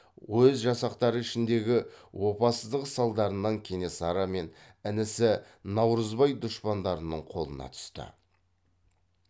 өз жақтастары ішіндегі опасыздық салдарынан кенесары мен інісі наурызбай дұшпандарының қолына түсті